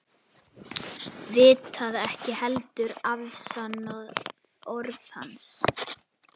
vitað ekki heldur afsannað orð hans.